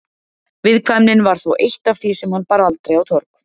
Viðkvæmnin var þó eitt af því sem hann bar aldrei á torg.